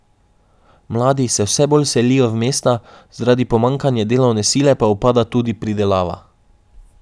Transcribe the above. Mladi se vse bolj selijo v mesta, zaradi pomanjkanja delovne sile pa upada tudi pridelava.